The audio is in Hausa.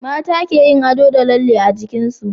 mata keyin ado da lalle a jikinsu